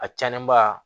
A cɛnnen ba